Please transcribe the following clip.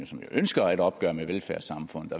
som jo ønsker et opgør med velfærdssamfundet